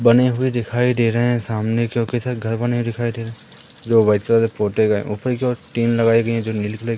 बने हुए दिखाई दे रहे हैं सामने काफी सारे घर बने हुए दिखाई दे रहे है जो वाइट कलर से पोते गए हैं ऊपर की ओर टीन लगाई गई है जो नीले कलर की --